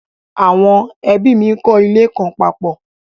Àwọn ẹ́bí mi n kọ́ ilé kan papọ̀